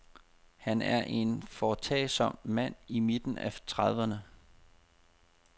Han er en foretagsom mand i midten af trediverne.